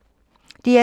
DR2